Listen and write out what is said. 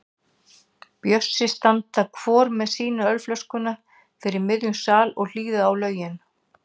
Bjössi standa hvor með sína ölflöskuna fyrir miðjum sal og hlýða á lögin.